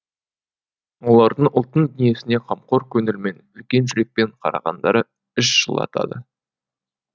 олардың ұлттың дүниесіне қамқор көңілмен үлкен жүрекпен қарағандары іш жылатады